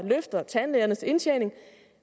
løfter tandlægernes indtjening